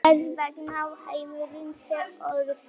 Þess vegna á heimurinn sér orsök.